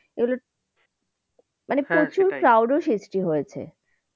মানে প্রচুর crowd ও সৃষ্টি হয়েছে।